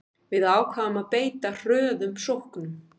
Við ákváðum að beita hröðum sóknum